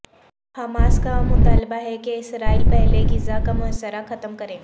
Hamas کا مطالبہ ہے کہ اسرائیل پہلے غزہ کا محاصرہ ختم کرے